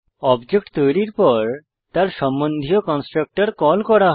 object তৈরীর পর তার সম্বন্ধীয় কন্সট্রকটর কল করা হয়